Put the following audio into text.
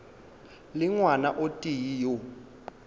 le ngwana o tee yo